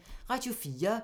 Radio 4